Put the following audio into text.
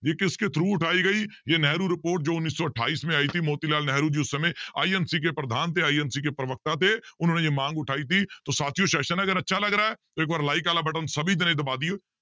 ਵੀ ਕਿਸਕੇ through ਉਠਾਈ ਗਈ ਇਹ ਨਹਿਰੂ report ਜੋ ਉੱਨੀ ਸੌ ਅਠਾਈਸ ਮੇ ਆਈ ਥੀ ਮੋਤੀ ਲਾਲ ਨਹਿਰੂ ਜੀ ਉਸ ਸਮੇਂ INC ਕੇ ਪ੍ਰਧਾਨ ਤੇ INC ਕੇ ਪ੍ਰਵਕਤਾ ਥੇ ਉਨੋਹੋਨੇ ਜੇ ਮਾਂਗ ਉਠਾਈ ਥੀ ਤੋ ਸਾਥੀਓ session ਅਗਰ ਅੱਛਾ ਲੱਗ ਰਿਹਾ ਹੈ ਇੱਕ ਵਾਰ like ਵਾਲਾ button ਸਭੀ ਦੇਣੇ ਦਬਾ ਦੇਈਓ